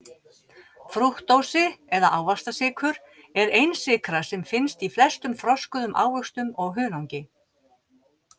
Frúktósi eða ávaxtasykur er einsykra sem finnst í flestum þroskuðum ávöxtum og hunangi.